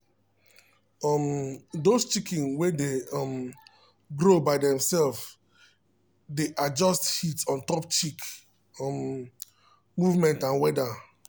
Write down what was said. um those chicken way dey um grow by themselves dey adjust heat ontop chick um movement and weather